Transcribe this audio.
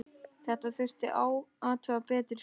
Þetta þurfti að athuga betur.